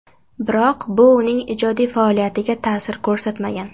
Biroq bu uning ijodiy faoliyatiga ta’sir ko‘rsatmagan.